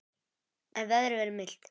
En veðrið verður milt.